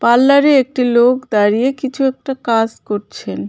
পাল্লারে একটি লোক দাঁড়িয়ে কিছু একটা কাস করছেন.